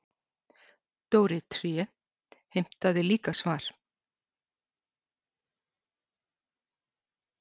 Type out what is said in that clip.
Dóri tré heimtaði líka svar.